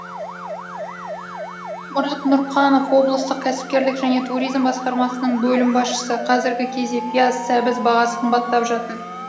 мұрат нұрқанов облыстық кәсіпкерлік және туризм басқармасының бөлім басшысы қазіргі кезде пияз сәбіз бағасы қымбаттап жатыр